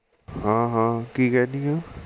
ਹਾਂ ਹਾਂ ਕਿ ਕਹਿਣੀ ਹੈ